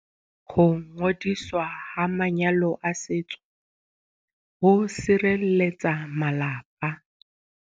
Ho ngodiswa ha manyalo a setso ho sirelletsa malapa.